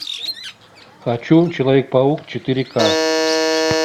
хочу человек паук четыре ка